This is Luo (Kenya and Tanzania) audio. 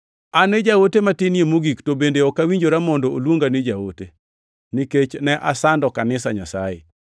An e jaote matinie mogik, to bende ok awinjora mondo oluonga ni jaote, nikech ne asando kanisa Nyasaye.